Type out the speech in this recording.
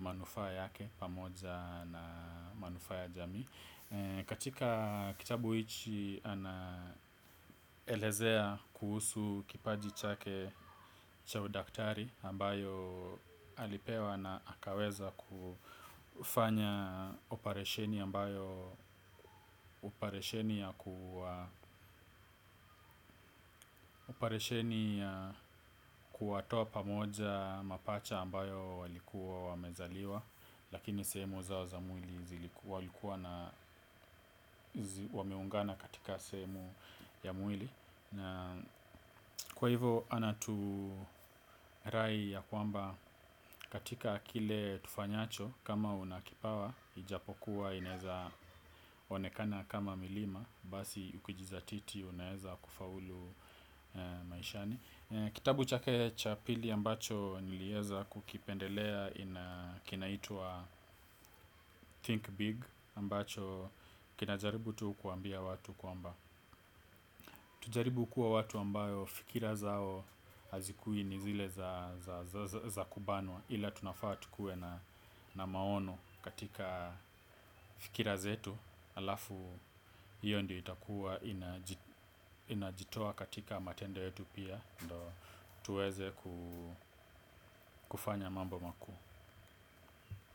manufaa yake pamoja na manufaa ya jamii. Katika kitabu hichi anaelezea kuhusu kipaji chake cha udaktari ambayo alipewa na akaweza kufanya oparisheni ambayo oparesheni ya kuwatoa pamoja mapacha ambayo walikuwa wamezaliwa lakini sehemu zao za mwili zilikuwa wameungana katika sehemu ya mwili. Kwa hivo anaturai ya kwamba katika kile tufanyacho kama una kipawa. Ijapokuwa inaeza onekana kama milima. Basi ukijizatiti unaeza kufaulu maishani. Kitabu chake cha pili ambacho nilieza kukipendelea ina kinaitwa Think Big Ambacho kinajaribu tu kuambia watu kwamba tujaribu kuwa watu ambayo fikira zao hazikui ni zile za kubanwa ila tunafaa tukue na maono katika fikira zetu, halafu hiyo ndio itakuwa inajitoa katika matendo yetu pia, ndo tuweze kufanya mambo makuu.